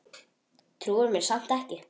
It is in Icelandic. Trúir mér samt ekki.